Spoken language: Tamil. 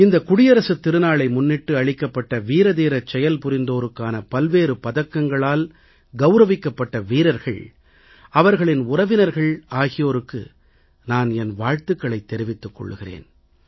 இந்த குடியரசுத் திருநாளை முன்னிட்டு அளிக்கப்பட்ட வீரதீரச் செயல்புரிந்தோருக்கான பல்வேறு பதக்கங்களால் கவுரவிக்கப்பட்ட வீரர்கள் அவர்களின் உறவினர்கள் ஆகியோருக்கு நான் என் வாழ்த்துகளைத் தெரிவித்துக் கொள்கிறேன்